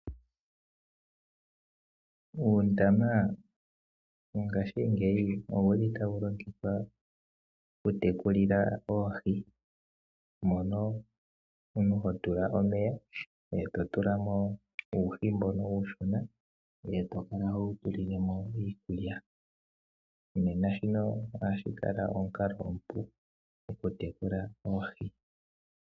Uundama mongashingeyi owuli tawu longithwa okutekulila oohi, mono omuntu ho tula omeya, to tula mo uuhi mbono uushona e to kala ho wu tulile mo iikulya. Nena shino ohashi kala omukalo omupu gwokutekula oohi.